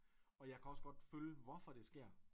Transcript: Og jeg kan også godt følge hvorfor det sker